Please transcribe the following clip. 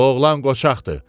Bu oğlan qoçaqdır.